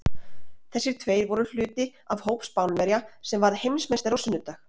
Þessir tveir voru hluti af hópi Spánverja sem varð Heimsmeistari á sunnudag.